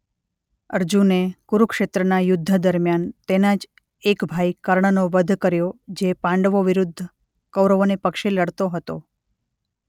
અર્જુને કુરુક્ષેત્રના યુદ્ધ દરમ્યાન તેના જ એક ભાઈ કર્ણ નો વધ કર્યો જે પાંડવો વિરુદ્ધ કૌરવોને પક્ષે લડતો હતો.